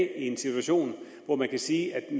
en situation hvor man kan sige at